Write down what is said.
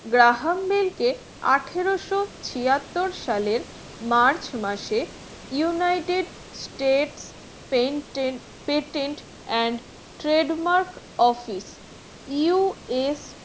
Graham Bell কে আঠারোশো ছিয়াত্তর সালের march মাসে united state pain pretend and trade mark office UA